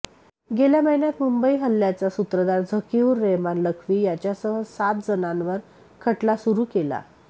गेल्या महिन्यात मुंबई हल्ल्याचा सूत्रधार झकीऊर रेहमान लख्वी याच्यासह सात जणांवर खटला सुरू केला